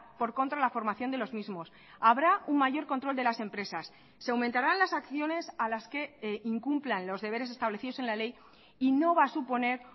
por contra la formación de los mismos habrá un mayor control de las empresas se aumentarán las acciones a las que incumplan los deberes establecidos en la ley y no va a suponer